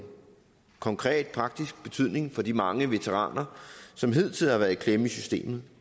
konkret praktisk betydning for de mange veteraner som hidtil har været i klemme i systemet